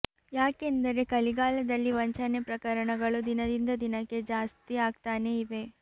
ಯಾಕೆಂದರೆ ಕಲಿಗಾಲದಲ್ಲಿ ವಂಚನೆ ಪ್ರಕರಣಗಳು ದಿನದಿಂದ ದಿನಕ್ಕೆ ಜಾಸ್ತಿ ಆಗ್ತಾನೇ ಇವೆ